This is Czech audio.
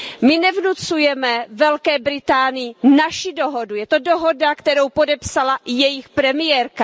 My nevnucujeme Velké Británii naši dohodu, je to dohoda, kterou podepsala jejich premiérka.